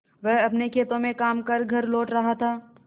वह अपने खेतों में काम कर घर लौट रहा था